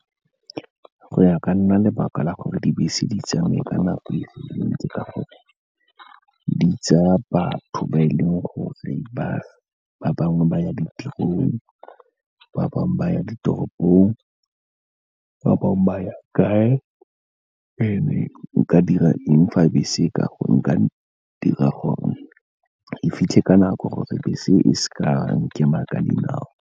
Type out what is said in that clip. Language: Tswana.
Go ya ka nna lebaka la gore dibese di tsamaye ka nako e ntsi, ke gore di tsaya batho ba e leng gore bangwe ba ya ditirong, ba bangwe ba ditoropong, ba bangwe ba ya kae. And-e nka dira eng fa bese, nka dira gore e fitlhe ka nako gore bese e seka nkema ka dinao.